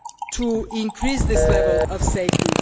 to increase this level of safety.